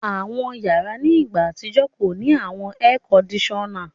Àwọn yàrà ni ìgbà atijọ̀ kọ ni awọn èèkọ́ndìsọ́na.